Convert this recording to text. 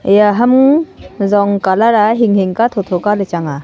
eya ham zong colour a hing hing ka tho tho Kaley chang a.